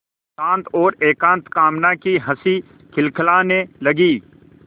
शांत और एकांत कामना की हँसी खिलखिलाने लगी